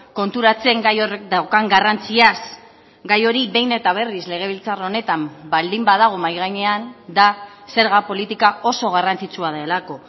konturatzen gai horrek daukan garrantziaz gai hori behin eta berriz legebiltzar honetan baldin badago mahai gainean da zerga politika oso garrantzitsua delako